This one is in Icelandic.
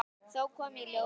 Þá kom í ljós að